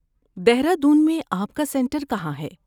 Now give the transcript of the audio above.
دہرادون میں آپ کا سنٹر کہاں ہے؟